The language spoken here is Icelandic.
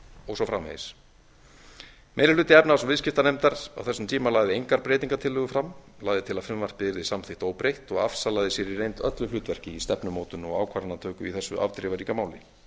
og svo framvegis meiri hluti efnahags og viðskiptanefndar á þessum tíma lagði engar breytingartillögur fram lagði til að frumvarpið yrði samþykkt óbreytt og afsalaði sér í reynd öllu hlutverki í stefnumótun og ákvarðanatöku í þessu afdrifaríka máli